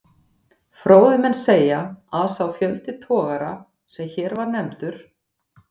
Fróðir menn segja, að sá fjöldi togara, sem hér var nefndur